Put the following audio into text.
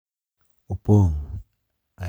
Opong’ e alwora mang’eny mag Jokristo,